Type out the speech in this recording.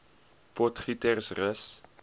potgietersrus